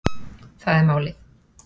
Það er málið